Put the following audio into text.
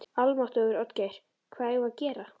Almáttugur, Oddgeir, hvað eigum við að gera?